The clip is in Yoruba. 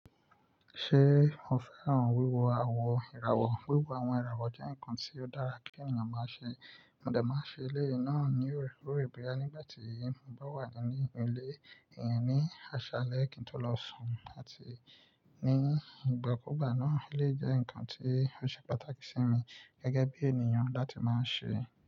Ṣé o fẹ́ràn wíwo àwọn ìràwọ̀? Wíwo àwọn ìràwọ̀ jẹ́ ǹkan tí ó dára kí ènìyàn máa ṣe. Mo dẹ̀ máa ṣe eléyìí náà ní orekore boya nígbà tí mo bá wà ní inú ilé. Ìyẹn ní aṣalẹ kí n tó lọ sùn àti ní ìgbàkúùgbà náà. Ó lè jẹ́ ǹkan tí ó ṣe pàtàkì sí mi gẹ́gẹ́ bí ènìyàn láti máa ń ṣe.